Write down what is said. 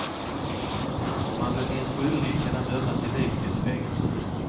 Om han befinns skyldig kan han dömas till livstids fängelse.